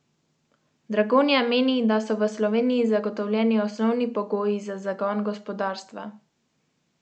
Janković je sicer na vprašanje, ali bo tožil komisijo za preprečevanje korupcije, tudi dejal, da bo zaščitil svoje dobro ime.